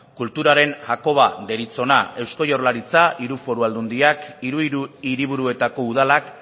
kulturaren hakoba deritzona eusko jaurlaritza hiru foru aldundiak hiru hiriburuetako udalak